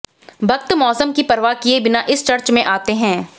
भक्त मौसम की परवाह किए बिना इस चर्च में आते हैं